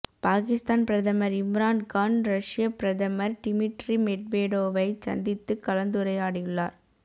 பாகிஸ்தான் பிரதமர் இம்ரான் கான் ரஷ்யப் பிரதமர் டிமிட்ரி மெட்வேடோவைச் சந்தித்துக் கலந்துரையாடியுள்ளார